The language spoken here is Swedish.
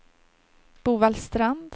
Bovallstrand